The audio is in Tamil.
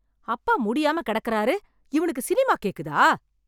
அப்பா முடியாம கிடக்கறாரு, இவனுக்கு சினிமா கேக்குதா?